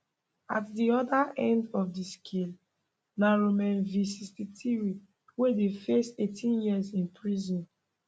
at di oda end of di scale na romain v 63 wey dey face 18 years in prison